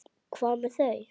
Hvað með þau?